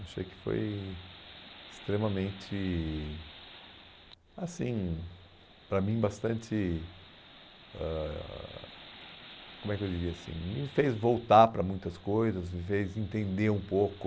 Achei que foi extremamente, assim, para mim bastante, ãh como é que eu diria assim, me fez voltar para muitas coisas, me fez entender um pouco